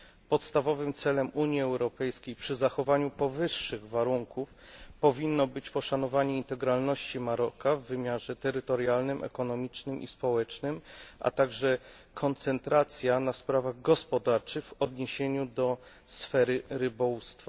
Podstawowym celem Unii Europejskiej przy zachowaniu powyższych warunków powinno być poszanowanie integralności Maroka w wymiarze terytorialnym, ekonomicznym i społecznym, a także koncentracja na sprawach gospodarczych w odniesieniu do sfery rybołówstwa.